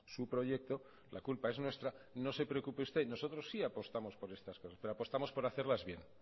su proyecto la culpa es nuestra no se preocupe usted nosotros sí apostamos por estas cosas pero apostamos por hacerlas bien